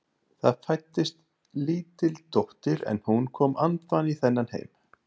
Það fæddist lítil dóttir en hún kom andvana í þennan heim.